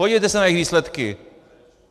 Podívejte se na jejich výsledky!